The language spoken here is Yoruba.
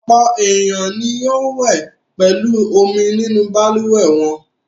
Ọ̀pọ̀ ènìyàn ni yóò wẹ̀ pẹ̀lú omi nínú balùwẹ̀ wọn.